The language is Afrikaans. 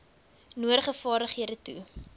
nodige vaardighede toe